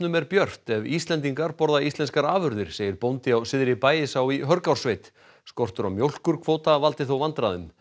er björt ef Íslendingar borða íslenskar afurðir segir bóndi á Syðri Bægisá í Hörgársveit skortur á mjólkurkvóta valdi þó vandræðum